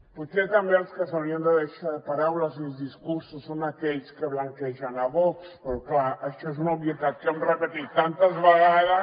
potser també els que s’haurien de deixar de paraules i discursos son aquells que blanquegen vox però clar això és una obvietat que hem repetit tantes vegades